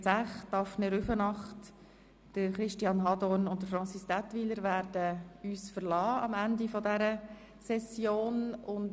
Elisabeth Zäch, Daphne Rüfenacht, Christian Hadorn und Francis Daetwyler werden uns am Ende dieser Session verlassen.